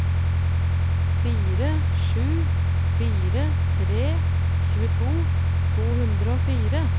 fire sju fire tre tjueto to hundre og fire